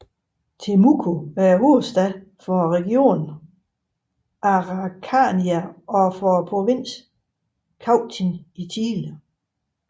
Temuco er hovedstad for regionen Araucanía og for provinsen Cautín i Chile